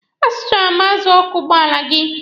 A zụtara m azụ ọkụ ụgbọala gị.